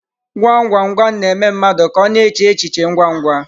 Gwam gwam gwam na-eme mmadụ ka ọ na-eche echi che ngwa ngwa.